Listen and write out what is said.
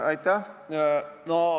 Aitäh!